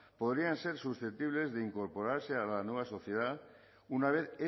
podrían ser susceptibles de incorporarse a la nueva sociedad una vez